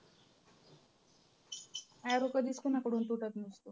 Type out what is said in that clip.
arrow कधीच कुणाकडून तुटत नसतो.